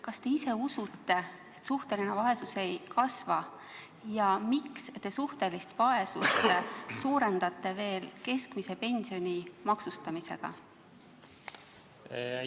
Kas te ise usute, et suhteline vaesus ei kasva, ja miks te suhtelist vaesust keskmise pensioni maksustamisega suurendate?